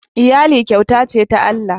iyali kyauta ce ta Allah